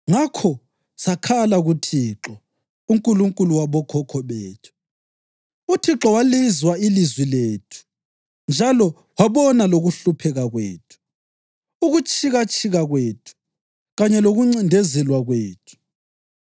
Ngakho sakhala kuThixo, uNkulunkulu wabokhokho bethu, uThixo walizwa ilizwi lethu njalo wabona lokuhlupheka kwethu, ukutshikatshika kwethu kanye lokuncindezelwa kwethu.